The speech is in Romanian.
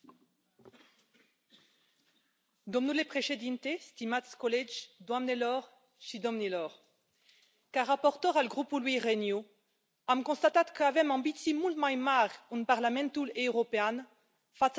Domnule Președinte, stimați colegi, doamnelor și domnilor, ca raportor al grupului Renew, am constatat că avem ambiții mult mai mari în Parlamentul European față de reprezentanții guvernelor noastre.